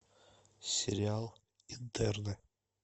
сериал интерны